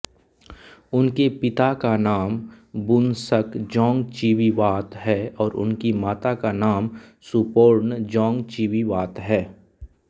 उनके पिता का नाम बूनसक जोंगचीवीवात है और उनकी माता का नाम सुपोर्न जोंगचीवीवात है